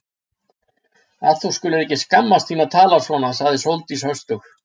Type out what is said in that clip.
Að þú skulir ekki skammast þín að tala svona sagði Sóldís höstug.